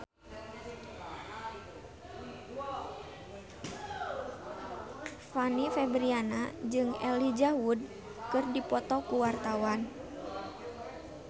Fanny Fabriana jeung Elijah Wood keur dipoto ku wartawan